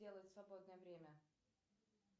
делают в свободное время